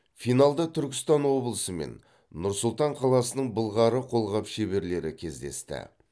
финалда түркістан облысы мен нұр сұлтан қаласының былғары қолғап шеберлері кездесті